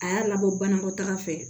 A y'a labɔ banakɔtaga fɛ